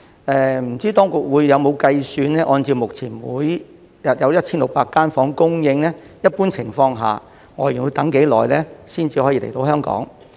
不知當局會否按照目前每日有1600間房間的供應來計算，在一般情況下，外傭要等多久才可以來香港？